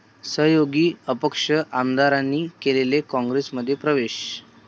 सहयोगी अपक्ष आमदारांनी केला काँग्रेसमध्ये प्रवेश